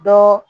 Dɔ